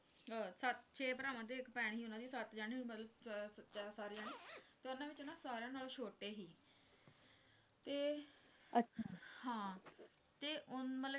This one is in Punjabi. ਛੇ ਭਰਾਵਾਂ ਤੇ ਇੱਕ ਭੈਣ ਸੱਤ ਜਾਣੇ ਹੋਏ ਮਤਲਬ ਸਾਰੇ ਜਾਣੇ ਤੇ ਉਨ੍ਹਾਂ ਵਿਚੋਂ ਨਾ ਸਾਰੀਆਂ ਨਾਲੋਂ ਛੋਟੇ ਸੀ ਤੇ ਹਾਂ ਤੇ ਓਂ ਮਤਲਬ